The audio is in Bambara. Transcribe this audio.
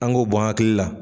An g'o bɔ an akili la